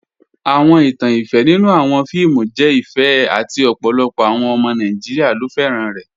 Awọn ìtàn ìfẹ nínu awọn fíìmù jẹ ìfẹ àti ọ̀pọ̀lọpọ̀ awọn ọmọ Nàìjíríà ló fẹ́ran rẹ̀.